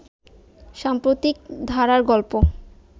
সাম্প্রতিক ধারার গল্প